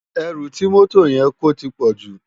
Èrú ti mòtó yèn kó tipòjú